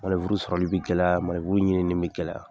Maneburu sɔrɔli bɛ gɛlɛya maneburu ɲinini bɛ gɛlɛya